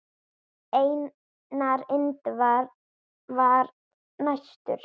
Einar Indra var næstur.